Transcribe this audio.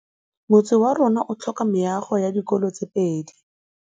Motse warona o tlhoka meago ya dikolô tse pedi.